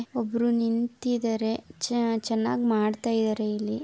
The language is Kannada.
ಒಬ್ಬರು ನಿಂತಿದ್ದಾರೆ. ಚೆನ್ನಾಗಿ ಮಾಡ್ತಾ ಇದ್ದಾರೆ ಇಲ್ಲಿ.